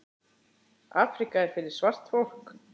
Afríka er fyrir svart fólk.